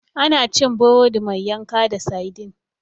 Ana cin burodi mai yanka da saidin.